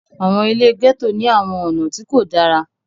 àwọn ile gẹto ni àwọn ọna ti ko dara.